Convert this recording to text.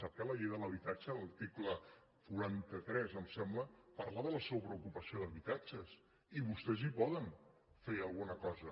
sap que la llei de l’habitatge l’article quaranta tres em sembla parla de la sobreocupació d’habitatges i vostès hi poden fer alguna cosa